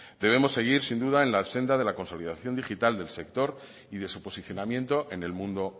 debemos seguir sin duda en la senda de la consolidación digital del sector y de su posicionamiento en el mundo